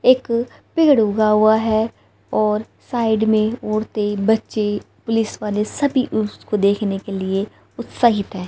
एक पेड़ उगा हुआ है और साइड में औरते बच्चे पुलिस वाले सभी उसको देखने के लिए उत्साहित है।